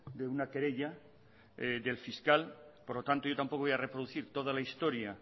de una querella del fiscal por lo tanto yo tampoco voy a reproducir toda la historia